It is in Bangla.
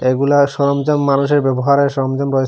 এগুলা সরঞ্জাম মানুষের ব্যবহারের সরঞ্জাম রয়েছে।